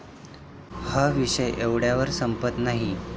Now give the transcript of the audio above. हा विषय एवढ्यावर संपत नाही.